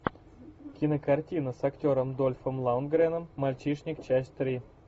кинокартина с актером дольфом лундгреном мальчишник часть три